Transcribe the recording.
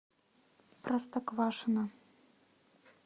простоквашино